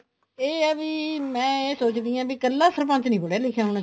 ਇਹ ਆ ਵੀ ਮੈਂ ਇਹ ਸੋਚਦੀ ਹਾਂ ਵੀ ਇੱਕਲਾ ਸਰਪੰਚ ਨਹੀਂ ਪੜਿਆ ਲਿਖਿਆਂ ਹੋਣਾ ਚਾਹੀਦਾ